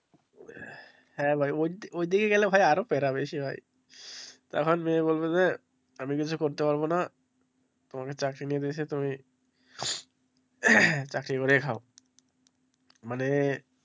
হ্যাঁ ভাই ওই দিকে গেলে আরো প্যারা বেশি ভাই তখন মেয়ে বলবে যে আমি কিছু করতে পারবো না তোমাকে চাকরি তুমি চাকরি করেই খাও মানে।